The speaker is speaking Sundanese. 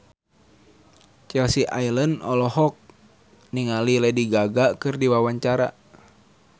Chelsea Islan olohok ningali Lady Gaga keur diwawancara